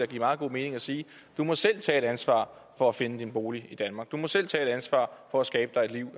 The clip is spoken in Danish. give meget god mening at sige du må selv tage et ansvar for at finde din bolig i danmark du må selv tage et ansvar for at skabe dig et liv